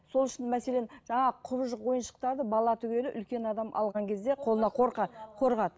сол үшін мәселен жаңағы құбыжық ойыншықтарды бала түгілі үлкен адам алған кезде қолына қорқады